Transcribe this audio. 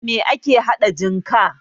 Da me ake haɗa jinka?